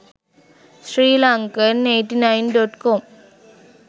sri lankan 89.com